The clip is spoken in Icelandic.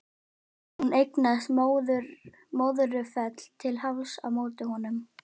Og hún eignaðist Möðrufell til hálfs á móti honum.